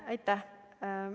Aitäh!